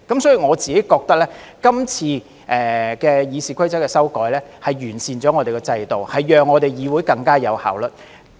所以，我覺得今次修改《議事規則》是完善了立法會的制度，讓議會更有效率。